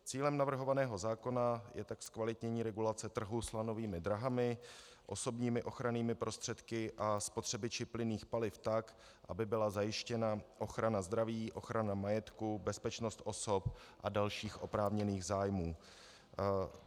Cílem navrhovaného zákona je tak zkvalitnění regulace trhu s lanovými dráhami, osobními ochrannými prostředky a spotřebiči plynných paliv, tak aby byla zajištěna ochrana zdraví, ochrana majetku, bezpečnost osob a dalších oprávněných zájmů.